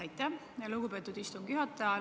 Aitäh, lugupeetud istungi juhataja!